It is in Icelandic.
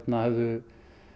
höfðu